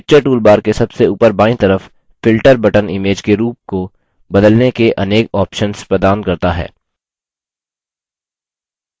picture toolbar के सबसे ऊपर बायीं तरफ filter button image के रूप को बदलने के अनेक options प्रदान करता है